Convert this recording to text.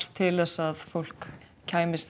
til að fólk kæmist